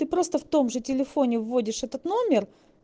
просто в том же телефоне вводишь этот номер